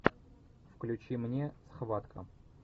включи мне схватка